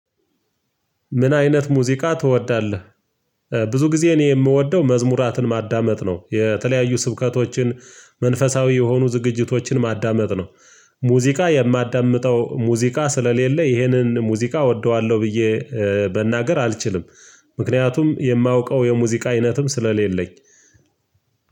ምን አይነት ሙዚቃ ትወዳለህ? ብዙ ጊዜ እኔ የምወደው መዝሙራትን ማዳመጥ ነው የተለያዩ ስብከቶችን መንፈሳዊ የሆኑ ዝግጅቶችን ማዳመጥ ነው። ሙዚቃ የማዳምጠው ሙዚቃ ስለሌለ ይሄንን ሙዚቃ እወደዋለሁ ብዬ መናገር አልችልም። ምክንያቱም የማውቀው የሙዚቃ አይነትም ስለሌለኝ።